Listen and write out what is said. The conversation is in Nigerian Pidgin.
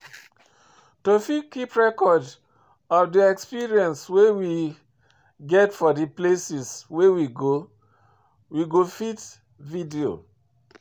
To fit keep record of di experience wey we get for di places wey we go, we fit video